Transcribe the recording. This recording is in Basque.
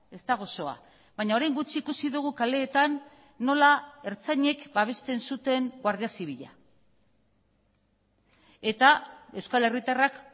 ez da gozoa baina orain gutxi ikusi dugu kaleetan nola ertzainek babesten zuten guardia zibila eta euskal herritarrak